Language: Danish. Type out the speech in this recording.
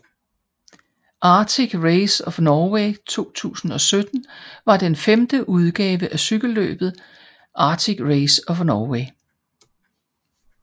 Arctic Race of Norway 2017 var den femte udgave af cykelløbet Arctic Race of Norway